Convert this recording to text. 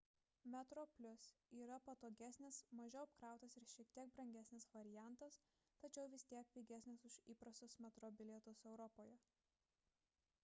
metroplus yra patogesnis mažiau apkrautas ir šiek tiek brangesnis variantas tačiau vis tiek pigesnis už įprastus metro bilietus europoje